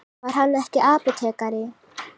Var hann ekki apótekari?